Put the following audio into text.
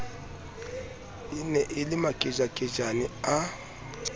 ne e le makejakejane a